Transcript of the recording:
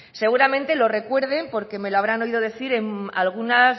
seguramente lo recuerden porque me lo habrán oído decir en algunas